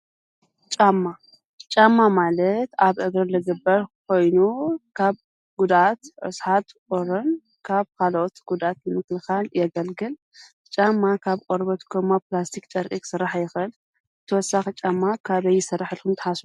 ጫማ፣ ጫማ ማለት ኣብ እግሪ ዝግበር ኾይኑ ካብ ጉዳት፣ ርሳሓት፣ ቁርን ካብ ኻሎኦት ጉዳት ንምክልካን የገልግልና። ጫማ ካብ ቆርበት ከማ ፕላስቲኽ ጨርቂ ኽስራሕ ይኸእል። ተወሳኪ ጫማ ካበይ ይስራሕ ኢልኩም ትሓስቡ?